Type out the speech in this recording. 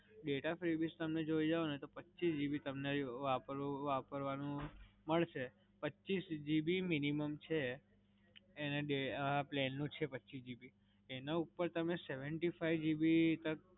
Data free તમને જોઈએ ને તો પચીસ GB તમને વાપરવાનું મડસે. પચીસ GB minimum છે, આ plan નું છે પચીસ GB. એના ઉપર તમે seventy-five GB તક.